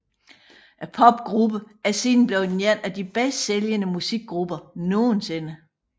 Popgruppen er siden blevet en af de bedst sælgende musikgrupper nogensinde